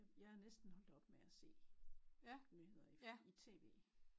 Jeg er næsten holdt op med at se nyheder i tv